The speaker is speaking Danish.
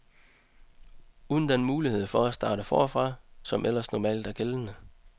Uden den mulighed for at starte forfra, som ellers normalt er gældende.